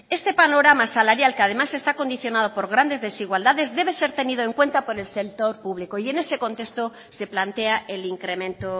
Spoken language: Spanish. este panorama salarial que además está condicionado por grandes desigualdades debe ser tenido en cuenta por el sector público y en ese contexto se plantea el incremento